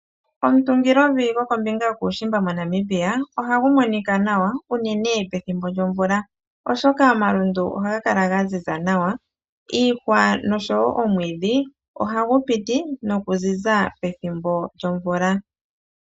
Omutungilovi gokombinga yokuushimba moNamibia, ohagu monika nawa unene pethimbo lyomvula oshoka omalundu ohaga kala ga ziza nawa. Iihwa nosho wo omwiidhi ohagu piti nokuziza pethimbo lyomvula.